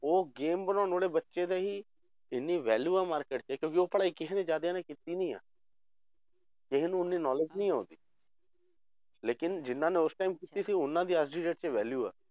ਉਹ game ਬਣਾਉਣ ਵਾਲੇ ਬੱਚੇ ਦਾ ਹੀ ਇੰਨੀ value ਆ market 'ਚ ਕਿਉਂਕਿ ਉਹ ਪੜ੍ਹਾਈ ਕਿਸੇ ਨੇ ਜ਼ਿਆਦਿਆਂ ਨੇ ਕੀਤੀ ਨੀ ਆ ਕਿਸੇ ਨੂੰ ਉਨੀ knowledge ਨਹੀਂ ਆ ਉਹਦੀ ਲੇਕਿੰਨ ਜਿੰਨਾਂ ਨੇ ਉਸ time ਕੀਤੀ ਸੀ ਉਹਨਾਂ ਦੀ ਅੱਜ ਦੀ date 'ਚ value ਆ।